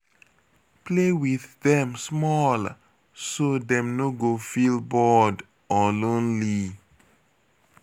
Play with dem small, so dem no go feel bored or lonely